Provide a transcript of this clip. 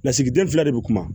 Lasigiden fila de bɛ kuma